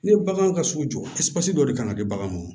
Ne bagan ka sugu jɔ dɔ de kan ka di bagan ma